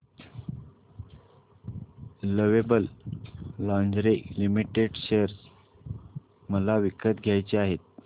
lovable lingerie limited share मला विकत घ्यायचे आहेत